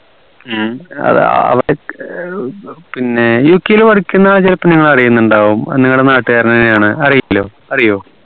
ഉം അത് അ പിന്നെ UK ൽ ആൾ ചെലപ്പോ നിങ്ങൾ അറീനിണ്ടാവു നിങ്ങടെ നാട്ടകാരനാണ് അറിയോ